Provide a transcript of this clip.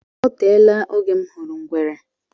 O teela oge m hụrụ ngwere.